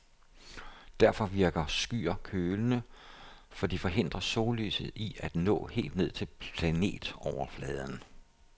Derfor virker skyer kølende, for de forhindrer sollyset i at nå helt ned til planetoverfladen.